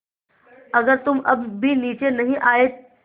अगर तुम अब भी नीचे नहीं आये